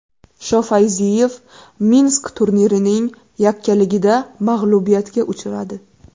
Shofayziyev Minsk turnirining yakkaligida mag‘lubiyatga uchradi.